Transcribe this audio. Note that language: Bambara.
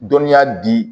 Dɔnniya di